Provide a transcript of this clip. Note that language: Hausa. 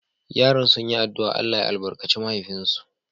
Yaran sun yi addu’a Allah ya albarkace mahaifinsu.